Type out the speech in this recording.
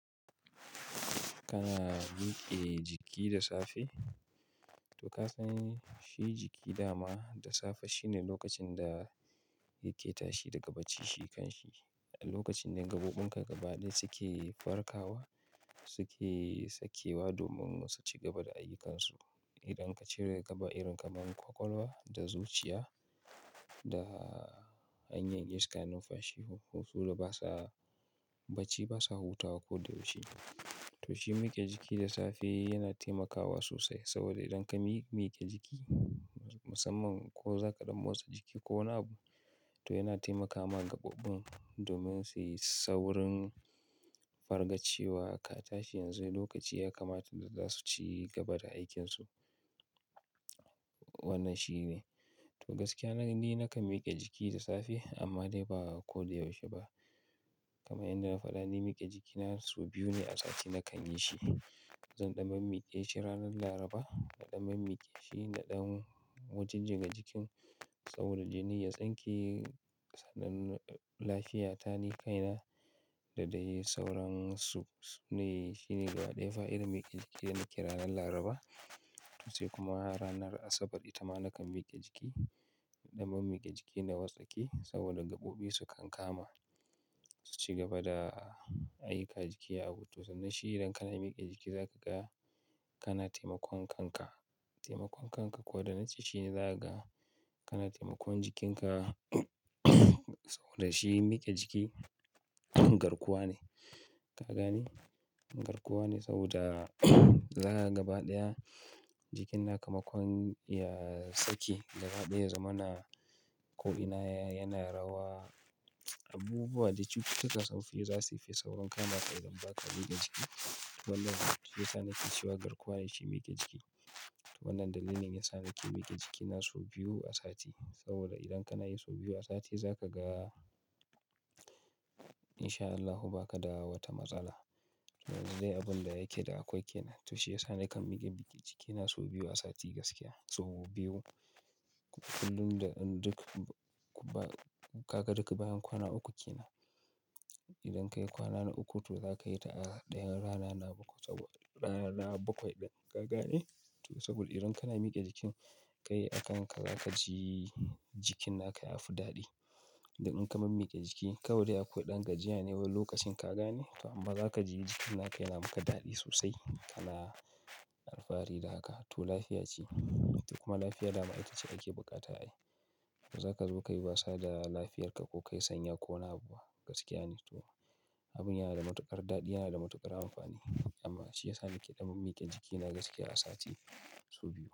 Kana mike jiki da safe? To ka san shi jiki dama da safe shine lokacin da yake tashi daga bacci shi kan shi. A lokacin da gabobin ka gaba ɗaya suke farkawa suke sakewa domin su ci gaba da ayyukansu. Idan ka cire gaba irin kamar kwakwalwa da zuciya da hanyar iska, numfashi husulu basa bacci basa hutawa ko da yaushe. To shi mike jiki da safe yana taimakawa sosai saboda idan ka mi-mike jiki musamman ko za ka ɗan motsa jiki ko wani abu to yana taimakawa gaɓoɓin domin su yi saurin fargacewa aka tashi yanzu lokaci ya kamata da za su ci gaba da aikinsu. Wannan shine. To gaskiya na ni nakan mike jiki da safe amma dai ba ko da yaushe ba. Kamar yadda na faɗa, ni mike jikina sau biyu ne a sati nakan yi shi. Zan ɗan mi mike shi ranar Laraba da ɗan mi mike shi da ɗan wajen jinka jikin saboda jini ya tsinke sadann- lafiya ta ni kaina da dai sauransu. Shi ne gaba ɗaya fa irin mike jiki dana kira ranar Laraba sai kuma ranar Asabar ita ma nakan mike jiki. Ɗan mi mike jiki na wartsake saboda gaɓoɓi su kan kama su ci gaba da ayyukan jiki a hutu. Sannan shi idan kana mike jiki za ka ga kana taimakon kanka, taimakon kanka. Ko da nace shi ne za ka ga kana taimakon jikinka saboda shi mike jiki garkuwa ne. Ka gane? Garkuwa ne saboda zaga gaba ɗaya jikin na kamakon ya saki gaba ɗaya zumana ko'ina yana rawa. Abubuwa da cututtuka sun fi za suyi saurin kama ka idan ba ka mike jiki. Wannan shine yasa nake cewa garkuwa ce mike jiki. Wannan dalilin yasa nake mike jikina sau biyu a sati saboda idan kana yi sau biyu a sati za ka ga in sha Allahu ba ka da wata matsala. Wanzai abun da yake da akwai ke nan. To shi yasa nakan mike jikina sau biyu a sati gaskiya sau biyu. Kullum da duk ka gaba duk bayan kwana ukun ke nan. Idan ka yi kwana na uku to za ka yi ta a ɗayan rana na bakwai saboda rana bakwai ɗan kaga ne. To saboda idan kana mike jikin ka yi a kan ka za ka ji jikin naka ya fi daɗi. Idan ka mi mike jiki kawai ya koɗan gajiya ne wani lokacin ka gane amma za ka ji jikin naka yana maka daɗi sosai. Kana alfahari da haka. To lafiya ce. Kuma lafiya dama ita ce ake bukata ai. Ba za ka zo ka yi wasa da lafiyarka ko ka yi sanya ko wani abu gaskiya ne. To abun yana da matuƙar daɗi yana da matuƙar amfani. Amma shi yasa nake ɗan mi mike jikina gaskiya a sati sau biyu.